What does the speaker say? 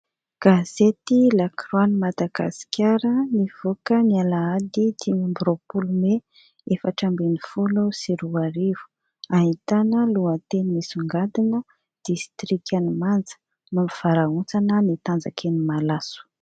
Gazety La croix an'i Madagasikara nivoaka ny alahady dimy amby roapolo may efatra ambin'ny folo sy roa arivo. Ahitana lohateny misongadina, distrikan'i manja : mampivarahontsana ny tanjaky ny malaso.